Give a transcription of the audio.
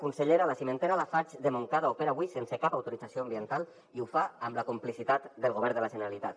consellera la cimentera lafarge de montcada opera avui sense cap autorització ambiental i ho fa amb la complicitat del govern de la generalitat